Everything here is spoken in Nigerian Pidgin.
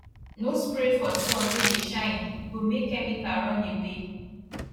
no spray for sun wey dey shine e go make chemical run away